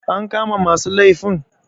an kama masu laifin